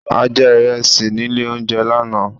A jẹ ìrẹsì nílé oúnjẹ lánáà